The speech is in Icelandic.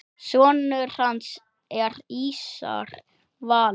Sonur hans er Ísar Valur.